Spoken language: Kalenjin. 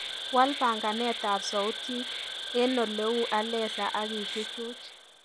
Waal panganetab sautik eng oleu alesa akichuchuch